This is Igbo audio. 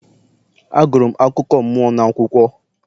Agụrụ m akụkọ mmụọ n'akwụkwọ